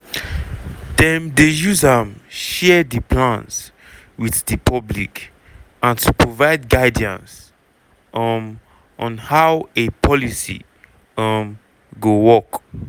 dem dey use am share di plans wit di public and to provide guidance um on how a policy um go work.